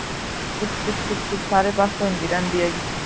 ਚਿਪਚਿਪ ਚਿਪਚਿਪ ਸਾਰੇ ਪਾਸੇ ਹੁੰਦੀ ਰਹਿੰਦੀ ਹੈ